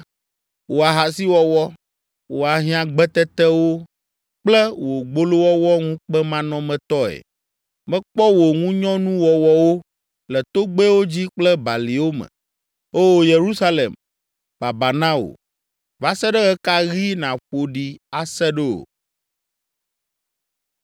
wò ahasiwɔwɔ, wò ahiãgbetetewo kple wò gbolowɔwɔ ŋukpemanɔmetɔe! Mekpɔ wò ŋunyɔnuwɔwɔwo le togbɛwo dzi kple baliwo me. Oo, Yerusalem, babaa na wò. Va se ɖe ɣe ka ɣi nàƒo ɖi ase ɖo?”